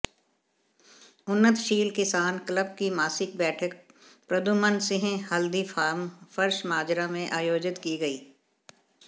उन्नतशील किसान क्लब की मासिक बैठक प्रदुमन सिंह हल्दी फार्म फर्शमाजरा में आयोजित की गई